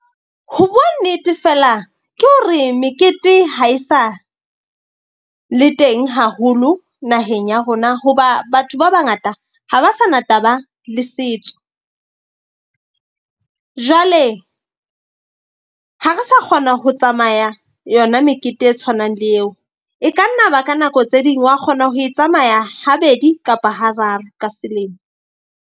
Ho bua nnete fela ke hore mekete ha e sa le teng haholo naheng ya rona. Hoba batho ba bangata ha ba sa na taba le setso. Jwale ha re sa kgona ho tsamaya yona mekete e tshwanang le eo. E ka nna ba ka nako tse ding wa kgona ho e tsamaya habedi kapa ha raro ka selemo.